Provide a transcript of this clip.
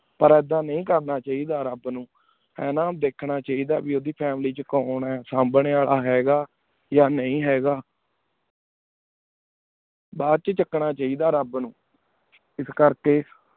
ਪਰ ਏਡਾ ਨੀ ਕਰਨਾ ਚੀ ਦਾ ਰਾਬ ਨੂ ਈਯ ਨਾ ਧ੍ਖਣਾ ਚੇਈ ਦਾ ਕੀ ਉਦੋਈ family ਚ ਕੋਉਣ ਆਯ ਸੰਬ੍ਯ ਅਲ ਹੈ ਗਾ ਯਾ ਨੀ ਹੈਂ ਗਾ ਬਚ ਚਕ ਨਾ ਚਿੜਾ ਰਾਬ ਨੂ ਇਸ ਕੇਰ ਕੀ